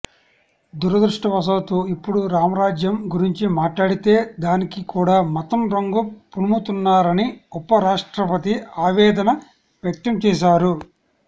దురదృష్టవశాత్తు ఇప్పుడు రామరాజ్యం గురించి మాట్లాడితే దానికి కూడా మతం రంగు పులుముతున్నారని ఉప రాష్ట్రపతి ఆవేదన వ్యక్తం చేశారు